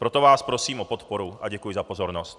Proto vás prosím o podporu a děkuji za pozornost.